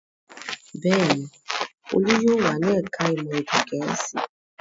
Bẹ́ẹ̀ ni, Olú yóò wà ní ẹ̀ka-ìmọ̀ èdè Gẹ̀ẹ́sì.